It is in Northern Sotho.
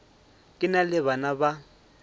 ke na le bana ba